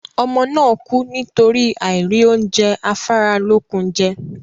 Ọmọ náà kú nítorí àìrí oúnjẹ afáralókun jẹ